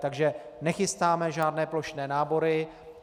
Takže nechystáme žádné plošné nábory.